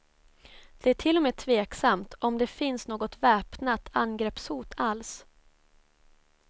Det är till och med tveksamt om det finns något väpnat angreppshot alls.